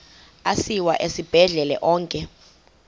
asiwa esibhedlele onke